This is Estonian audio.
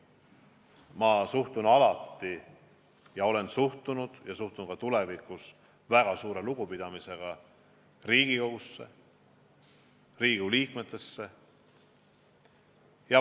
Ma olen alati suhtunud ja suhtun ka tulevikus väga suure lugupidamisega Riigikogusse ja Riigikogu liikmetesse.